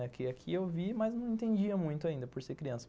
Aqui aqui eu vi, mas não entendia muito ainda, por ser criança.